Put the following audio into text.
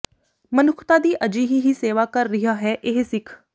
ਮਨੁੱਖਤਾ ਦੀ ਅਜਿਹੀ ਹੀ ਸੇਵਾ ਕਰ ਰਿਹਾ ਹੈ ਇਹ ਸਿੱਖ